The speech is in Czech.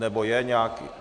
Nebo je nějaký...